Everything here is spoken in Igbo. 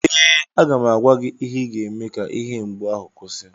ee, aga m agwa gị ihe ị ga-eme ka ihe mgbu ahụ kwụsị